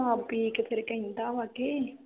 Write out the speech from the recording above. ਸ਼ਰਾਬ ਪੀਕੇ ਫਿਰ ਕਹਿੰਦਾ ਵਾ ਕੇ